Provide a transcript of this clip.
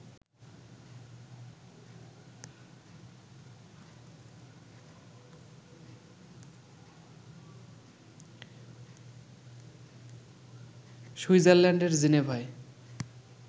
সুইজারল্যান্ডের জেনেভায়